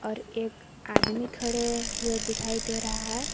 और एक आदमी खड़े हुए दिखाई दे रहा है।